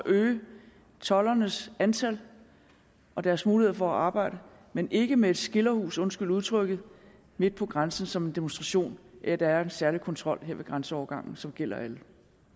øge toldernes antal og deres muligheder for at arbejde men ikke med et skilderhus undskyld udtrykket midt på grænsen som en demonstration af at der er en særlig kontrol her ved grænseovergangen som gælder alle